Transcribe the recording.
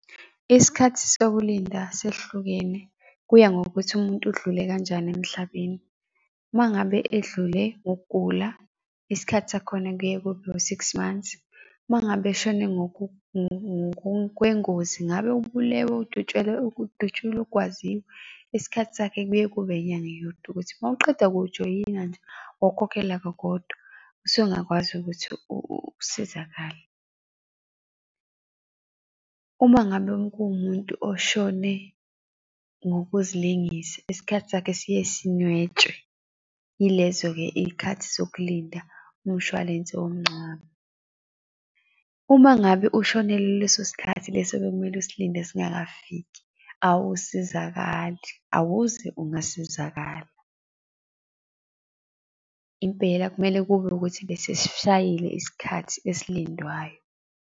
Isikhathi sokulinda ses'hlukene, kuya ngokuthi umuntu udlule kanjani emhlabeni. Uma ngabe edlule ngokugula, isikhathi sakhona kuye kube u-six months, uma ngabe eshone kwengozi ngabe ubulewe, udutshelwe, udutshulwe, ugwaziwe, isikhathi sakhe kuye kube inyanga yodwa ukuthi mawuqeda kuwujoyina nje, wawkhokhela kakodwa, usungakwazi ukuthi usizakale. Uma ngabe kuwumuntu oshone ngokuzilengisa, isikhathi sakhe siye sinwetshwe. Yilezo-ke iy'khathi zokulinda umshwalense womncwabo. Uma ngabe ushonelwe leso sikhathi leso ebekumele usilinde singakafiki, awusasizakali, awuze ungasizakala. Impela kumele kube ukuthi besesishayile isikhathi esilindwayo.